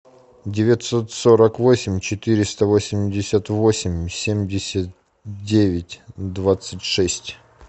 девятьсот сорок восемь четыреста восемьдесят восемь семьдесят девять двадцать шесть